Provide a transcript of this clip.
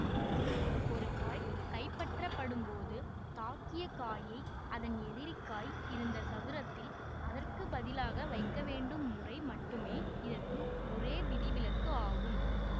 ஒரு காய் கைப்பற்றப்படும் போது தாக்கிய காயை அதன் எதிரி காய் இருந்த சதுரத்தில் அதற்கு பதிலாக வைக்கவேண்டும் முறை மட்டுமே இதற்கு ஒரே விதிவிலக்கு ஆகும்